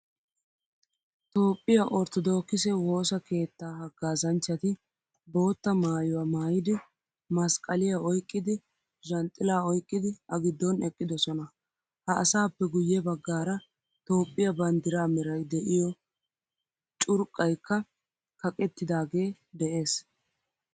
Toophphiyaa ortodokise woosa keettaahagaazanchchati boottaa maayuwaa maayidi masqqaliyaa oyqqidi zhanxila oyqqidi a giddon eqqidosona. Ha asappe guye baggaara toophphiyaa banddira meray de'iyo curqqaykka kaqqeettidage de'ees.